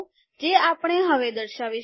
જે આપણે હવે દર્શાવીશું